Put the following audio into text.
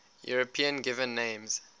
european given names